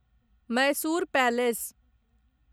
Mysore palace